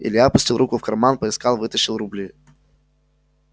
илья опустил руку в карман поискал вытащил рубли